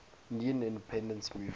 indian independence movement